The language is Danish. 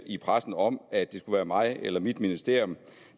i pressen om at det skulle være mig eller mit ministerium